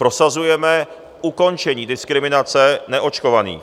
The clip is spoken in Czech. Prosazujeme ukončení diskriminace neočkovaných.